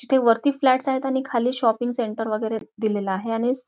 तिथे वरती फ्लॅटस आहेत आणि खाली शॉपिंग सेंटर वगैरे दिलेल आहे आणि स --